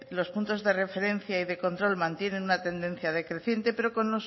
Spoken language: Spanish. los puntos de referencia y de control mantienen una tendencia decreciente pero con